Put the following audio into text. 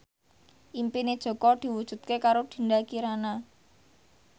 impine Jaka diwujudke karo Dinda Kirana